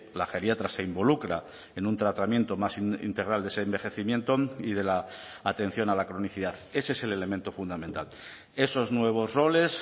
la geriatra se involucra en un tratamiento más integral de ese envejecimiento y de la atención a la cronicidad ese es el elemento fundamental esos nuevos roles